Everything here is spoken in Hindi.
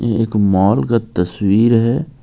यह एक मोल का तस्वीर है.